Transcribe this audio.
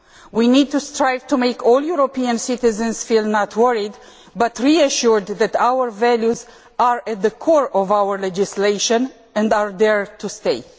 We need to strive to make all European citizens feel not worried but reassured that our values are at the core of our legislation and are there to stay.